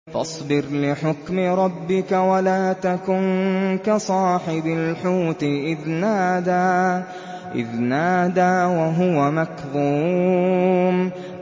فَاصْبِرْ لِحُكْمِ رَبِّكَ وَلَا تَكُن كَصَاحِبِ الْحُوتِ إِذْ نَادَىٰ وَهُوَ مَكْظُومٌ